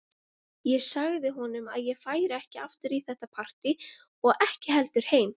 Ég sagði honum að ég færi ekki aftur í þetta partí og ekki heldur heim.